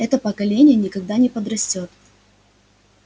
это поколение никогда не подрастёт